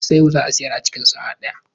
Isiewu za a shirya a cikin sa'a ɗaya.